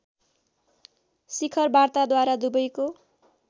शिखर वार्ताद्वारा दुबैको